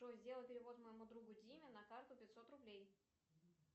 джой сделай перевод моему другу диме на карту пятьсот рублей